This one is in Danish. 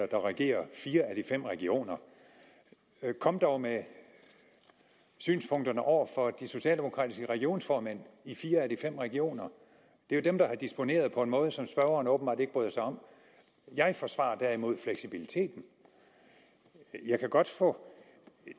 der regerer fire af de fem regioner kom dog med synspunkterne over for de socialdemokratiske regionsformænd i fire af de fem regioner det er dem der har disponeret på en måde som spørgerne åbenbart ikke bryder sig om jeg forsvarer derimod fleksibiliteten jeg kan godt få